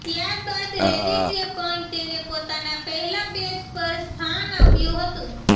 ત્યાર બાદ રેડિટે પણ તેને પોતાના પહેલા પેજ પર સ્થાન આપ્યું હતું